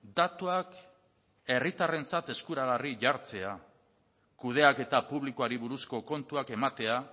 datuak herritarrentzat eskuragarri jartzea kudeaketa publikoari buruzko kontuak ematea